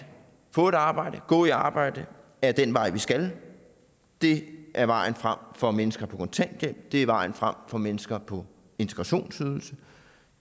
få et arbejde gå på arbejde er den vej vi skal det er vejen frem for mennesker på kontanthjælp det er vejen frem for mennesker på integrationsydelse